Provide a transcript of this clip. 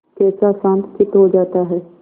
कैसा शांतचित्त हो जाता है